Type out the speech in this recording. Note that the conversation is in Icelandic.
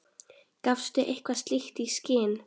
Gafstu eitthvað slíkt í skyn?